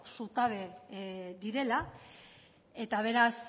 zutabe direla eta beraz